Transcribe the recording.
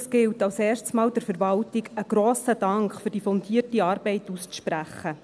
Es gilt als Erstes, der Verwaltung einen grossen Dank für die fundierte Arbeit auszusprechen.